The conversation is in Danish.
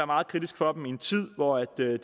meget kritisk for dem i en tid hvor der er